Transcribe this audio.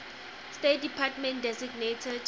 state department designated